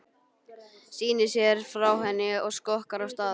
Snýr sér frá henni og skokkar af stað.